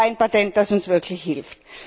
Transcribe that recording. Das ist kein Patent, das uns wirklich hilft.